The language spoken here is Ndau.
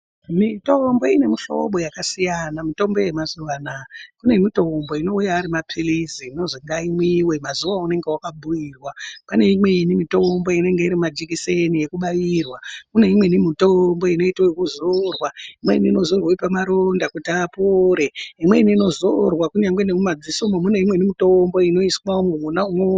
Mitombo ine muhlobo yakasiyana, mutombo yemazuwa ano. Kune mitombo inouya ari mapilizi inozi ngamwiwe mazuwa aunenge wakabhiirwa. Pane imweni mitombo inenge iri majikiseni ekubairwa. Pane imweni mitombo inoitwa kuzorwa, imweni inozorwa pamaronda kuti apore. Imweni inozorwa kunyangwe memumamadziso mwo pane imweni mitombo inoiswa imwomwo